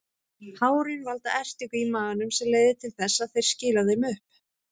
Hárin valda ertingu í maganum sem leiðir til þess að þeir skila þeim upp.